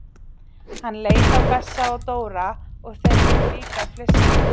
Hann leit á Bessa og Dóra og þeir fóru líka að flissa.